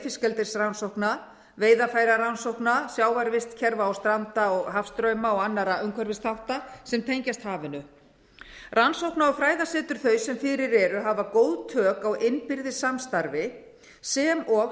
fiskeldisrannsókna veiðarfærarannsókna sjávarvistkerfa og stranda hafstrauma og annarra umhverfisþátta sem tengjast hafinu rannsókna og fræðasetur þau sem fyrir eru hafa góð tök á innbyrðis samstarfi sem og